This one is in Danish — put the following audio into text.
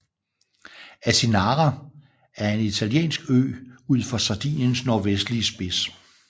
Asinara er en italiensk ø ud for Sardiniens nordvestlige spids